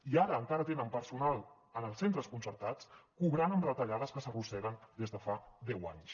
i ara encara tenen personal en els centres concertats cobrant amb retallades que s’arrosseguen des de fa deu anys